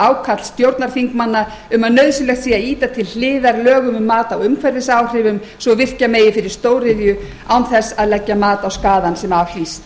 ákall stjórnarþingmanna um að nauðsynlegt sé að ýta til hliðar lögum um mat á umhverfisáhrifum svo virkja megi fyrir stóriðju án þess að leggja mat á skaðann sem af hlýst